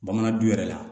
Bamanan du yɛrɛ la